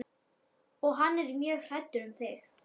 Og hann er mjög hræddur um þig.